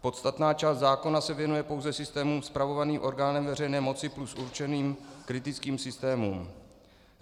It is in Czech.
Podstatná část zákona se věnuje pouze systémům spravovaným orgánem veřejné moci plus určeným kritickým systémům.